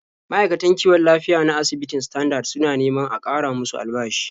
Ma'aikatan kiwon lafiya na asibitin Standard suna neman a ƙara musu albashi.